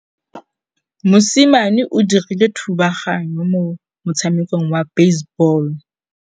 Mosimane o dirile thubaganyô mo motshamekong wa basebôlô.